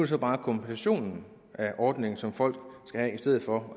så bare kompensationen af ordningen som folk skal have i stedet for